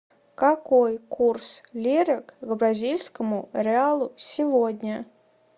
какой курс лиры к бразильскому реалу сегодня